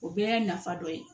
O bɛɛ y'a nafa dɔ ye